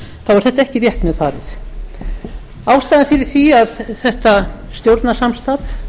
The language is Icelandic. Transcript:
það var samt ekki rétt með farið ástæðan fyrir því að þetta stjórnarsamstarf